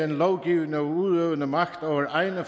den lovgivende og udøvende magt over egne